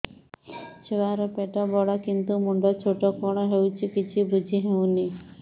ଛୁଆର ପେଟବଡ଼ କିନ୍ତୁ ମୁଣ୍ଡ ଛୋଟ କଣ ହଉଚି କିଛି ଵୁଝିହୋଉନି